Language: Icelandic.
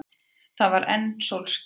Það var enn sólskin.